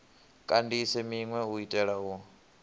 kandise minwe u itela u